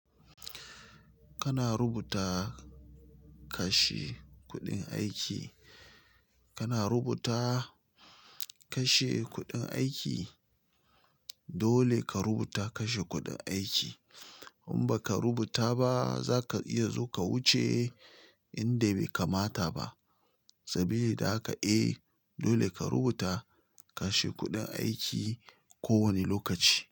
Kana rubuta kashe kuɗin aiki, kana rubuta kashe kuɗin aiki, dole ka rubuta kashe kuɗin aiki. In baka rubuta ba zaka iya zo ka wuce inda bai kamata ba. Sabili da haka eh, dole ka rubuta kashe kuɗin aiki kowane lokaci.